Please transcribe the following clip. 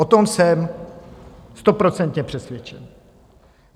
O tom jsem stoprocentně přesvědčen.